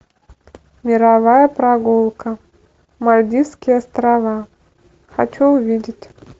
мировая прогулка мальдивские острова хочу увидеть